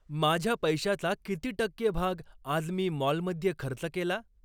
माझ्या पैशाचा किती टक्के भाग आज मी मॉलमध्ये खर्च केला